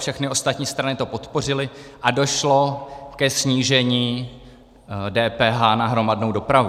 Všechny ostatní strany to podpořily a došlo ke snížení DPH na hromadnou dopravu.